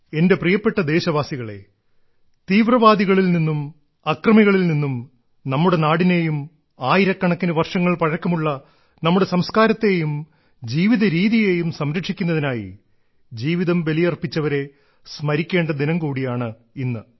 എന്റെ പ്രിയപ്പെട്ട ദേശവാസികളേ തീവ്രവാദികളിൽ നിന്നും അക്രമികളിൽ നിന്നും നമ്മുടെ നാടിനെയും ആയിരക്കണക്കിനു വർഷങ്ങൾ പഴക്കമുള്ള നമ്മുടെ സംസ്കാരത്തെയും ജീവിത രീതിയെയും സംരക്ഷിക്കുന്നതിനായി ജീവിതം ബലിയർപ്പിച്ചവരെ സ്മരിക്കേണ്ട ദിനം കൂടിയാണിന്ന്